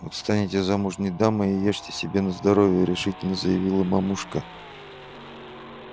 вот станете замужней дамой и ешьте себе на здоровье решительно заявила мамушка